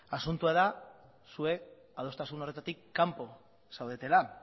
asuntoa da zuek adostasun horretatik kanpo zaudetela